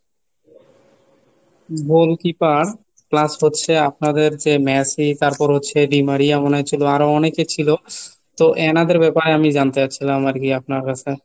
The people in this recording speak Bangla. goalkeeper plus হচ্ছে আপনাদের যে মেসি তারপর হচ্ছে ডিমারিয়া মনে হয় ছিল আরো অনেকে ছিল। তো এনাদের ব্যাপারে আমি জানতে চাচ্ছিলাম আর কি আপনার কাছে।